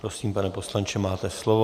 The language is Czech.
Prosím, pane poslanče, máte slovo.